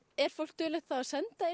er fólk duglegt að senda inn